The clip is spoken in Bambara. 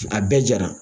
A bɛɛ jara